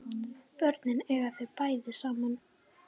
Börnin eiga þau bæði saman